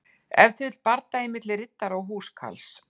Ef til vill bardagi milli riddara og húskarls.